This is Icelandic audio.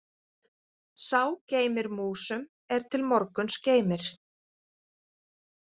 Sá geymir músum er til morguns geymir.